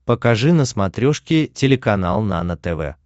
покажи на смотрешке телеканал нано тв